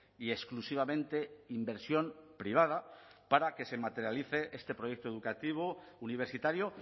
y exclusivamente inversión privada para que se materialice este proyecto educativo universitario